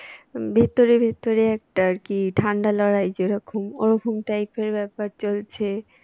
ভেতরে ভেতরে একটা আর কি ঠান্ডা লড়াই যেরকম ওরকম type এর ব্যাপার চলছে।